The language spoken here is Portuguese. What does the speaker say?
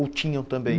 Ou tinham também?